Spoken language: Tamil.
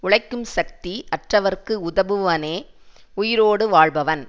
உழைக்கும் சக்தி அற்றவர்க்கு உதவுபவனே உயிரோடு வாழ்பவன்